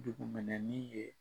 Dugu mɛnɛ min ye